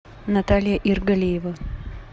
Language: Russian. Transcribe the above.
наталья иргалиева